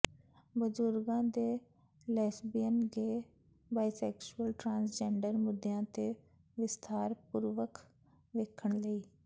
ਬਜ਼ੁਰਗਾਂ ਦੇ lesbian gay bisexual transgender ਮੁੱਦਿਆਂ ਤੇ ਵਿਸਥਾਰ ਪੂਰਵਕ ਵੇਖਣ ਲਈ